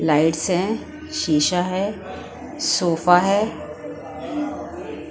Lights हैं शीशा है सोफा है।